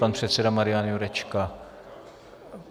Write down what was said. Pan předseda Marian Jurečka.